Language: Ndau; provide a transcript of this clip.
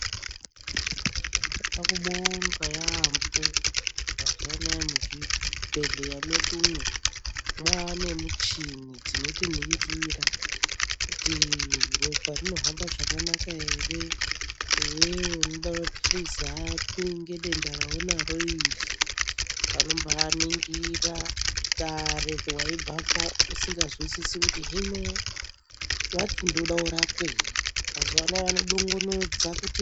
Tinoda kubonga yaamho mazuvaanaya muzvibhedhlera mwedumo mwaane michini dzinotiningira kuti ropa rinohamba zvakanaka here iwewe unoda mapirizi api ngedenda raunaro iri vanombaaningira kare waibvapo usinganzwisisi kuti hino vati ndoda kurapwei mazuvaano vanodonongodza kuti.